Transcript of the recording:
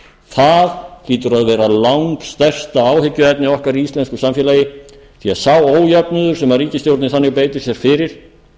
það hlýtur að vera langstærsta áhyggjuefni okkar í íslensku samfélagi því að sá ójöfnuður sem ríkisstjórnin þannig beitir sér fyrir